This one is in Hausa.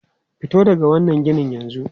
Fito daga wannan ginin yanzu!